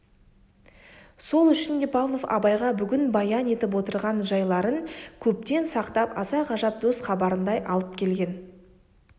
сол үшін де павлов абайға бүгін баян етіп отырған жайларын көптен сақтап аса ғажап дос хабарындай алып келген